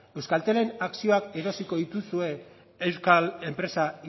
euskaltelen akzioak erosiko dituzue euskal enpresa